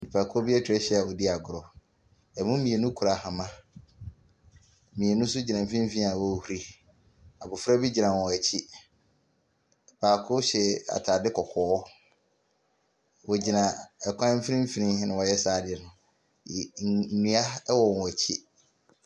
Nipakuo bi atwa ahyia a wɔredi agorɔ. Ɛmu mmienu kura ahoma. Mmienu nso gyina mfimfini a ɔrehuri. Abɔfra bi gyina wɔn akyi. Baako hyɛ ataadeɛ kɔkɔɔ. Wɔgyina kwan mfimfini na wɔreyɛ saa adeɛ no. ye mmm nnua wɔ wɔn akyi.